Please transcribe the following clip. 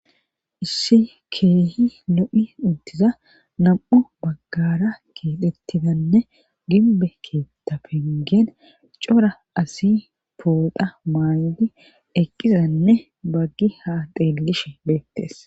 issi keehi lo'i uttiza nam'u baggara keexettidanne ginbbe keetta pengeen cora asi pooxa maay'di eqqidanne baggi ha xeelishe beettees